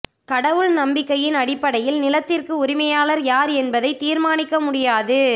கடவுள் நம்பிக்கையின் அடிப்படையில் நிலத்திற்கு உரிமையாளர் யார் என்பதை தீர்மானிக்க முடியாது